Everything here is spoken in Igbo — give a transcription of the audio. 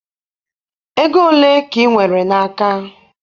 Ego ole ka ị nwere n'aka?